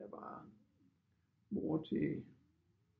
Der var mor til